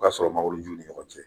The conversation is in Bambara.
O y'a sɔrɔ mangoroju ni ɲɔgɔn cɛ